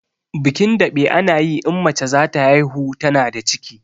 Bikin daɓe ana yi in mace zata haihu tana da ciki